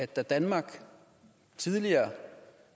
da danmark tidligere